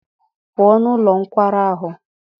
Pụọ n'ụlọ nkwari ahụ!